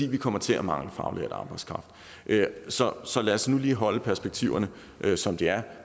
vi kommer til at mange faglært arbejdskraft så så lad os nu lige holde perspektiverne som de er